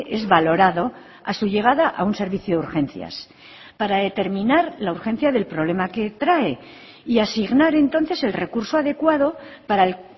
es valorado a su llegada a un servicio de urgencias para determinar la urgencia del problema que trae y asignar entonces el recurso adecuado para el